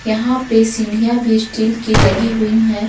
यहां पे सीढ़ियां भी स्टील की लगी हुई है।